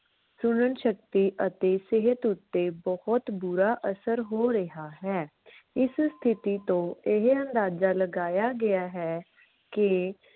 ਸੁਨਣ ਸ਼ਕਤੀ ਅਤੇ ਸਿਹਤ ਉੱਤੇ ਬਹੁਤ ਬੁਰਾ ਅਸਰ ਹੋ ਰਿਹਾ ਹੈ। ਇਸ ਸਥਿਤੀ ਤੋਂ ਇਹ ਅੰਦਾਜਾ ਲਗਾਇਆ ਗਿਆ ਹੈ ਕਿ